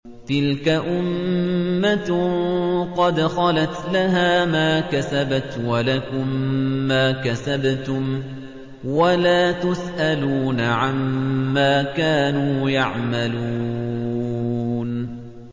تِلْكَ أُمَّةٌ قَدْ خَلَتْ ۖ لَهَا مَا كَسَبَتْ وَلَكُم مَّا كَسَبْتُمْ ۖ وَلَا تُسْأَلُونَ عَمَّا كَانُوا يَعْمَلُونَ